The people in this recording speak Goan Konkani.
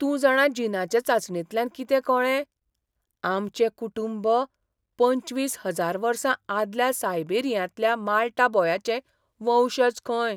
तूं जाणा जिनाचे चांचणेंतल्यान कितें कळ्ळें? आमचें कुटूंब पंचवीस हजार वर्सां आदल्या सायबेरियांतल्या माल्टा बॉयाचें वंशज खंय!